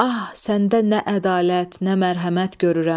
Ah, səndə nə ədalət, nə mərhəmət görürəm.